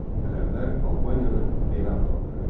Ərəblər Albaniyanı belə adlandırırdılar.